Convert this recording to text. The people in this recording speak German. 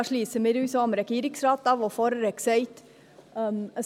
Da schliessen wir uns dem Regierungsrat an, der vorhin gesagt hat: